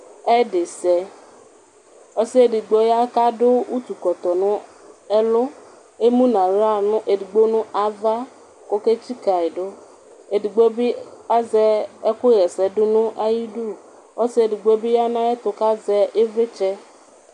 ɛdisɛ ɔsiɛdigbo ya kadʋ ʋtʋ kɔtɔ nɛlʋ emʋ nʋ aɣla edigbo nava koke tsikayidu edigbobi azɛ ɛkʋ ha ɛsɛdʋ nayidʋ ɔsiɛ edigbobi ya nʋ ayɛtʋ kazɛ ivlitsɛ